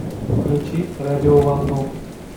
включи радио волну